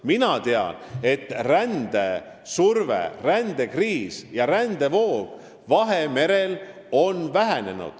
Mina tean, et rändesurve, rändekriis ja rändevoog Vahemerel on vähenenud.